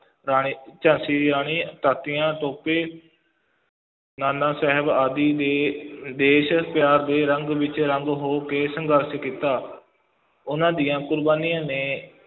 ਰਾਣੀ, ਝਾਂਸੀ ਦੀ ਰਾਣੀ ਤਾਂਤੀਆਂ ਤੋਪੇ ਨਾਨਾ ਸਾਹਿਬ ਆਦਿ ਨੇ ਦੇਸ਼ ਪਿਆਰ ਦੇ ਰੰਗ ਵਿੱਚ ਰੰਗ ਹੋ ਕੇ ਸੰਘਰਸ਼ ਕੀਤਾ, ਉਹਨਾਂ ਦੀਆਂ ਕੁਰਬਾਨੀਆਂ ਨੇ